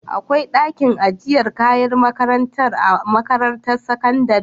akwai dakin ajiyar kayan makarantar a makarantar sakandari?